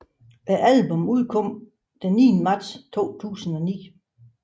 Albummet udkom den 9 marts 2009